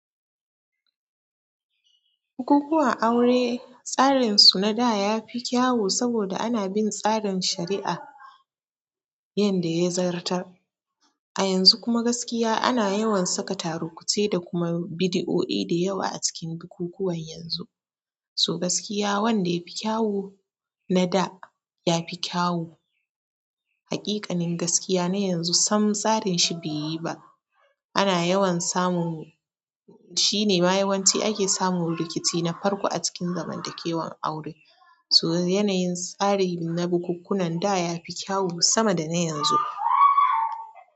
Bukukuwan aure, tsarin su na da ya fi kyawu saboda ana bin tsarin shari'a. Yanda ya zartar. A yanzu kuma gaskiya ana yawan saka tarukuce da kuma bidioi da yawa a cikin bukukuwan yanzu. So gaskiya wanda yafi kyawu na da ya fi kyawu. Haƙiƙanin gaskiya na yanzu sam tsarin shi be yi ba. Ana yawan samun, shine ma yawanci ake samun rikici na farko a cikin zamantakewan aure. So yanayin tsarin na bukukunan da ya fi kyawu sama da na yanzu.